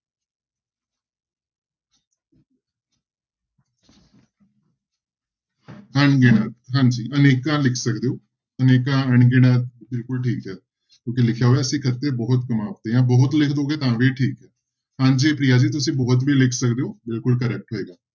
ਅਣਗਿਣਤ ਹਾਂਜੀ ਅਨੇਕਾਂ ਲਿਖ ਸਕਦੇ ਹੋ, ਅਨੇਕਾਂ ਅਣਗਿਣਤ ਬਿਲਕੁਲ ਠੀਕ ਹੈ ਕਿਉਂਕਿ ਲਿਖਿਆ ਹੋਇਆ ਅਸੀਂ ਖੱਤੇ ਬਹੁਤ ਕਮਾਵਦੇ ਹਾਂ ਬਹੁਤ ਲਿਖ ਦੇਵੋਗੇ ਤਾਂ ਵੀ ਠੀਕ ਹੈ, ਹਾਂਜੀ ਪ੍ਰਿਆ ਜੀ ਤੁਸੀਂ ਬਹੁਤ ਵੀ ਲਿਖ ਸਕਦੇ ਹੋ ਬਿਲਕੁਲ correct ਹੋਏਗਾ।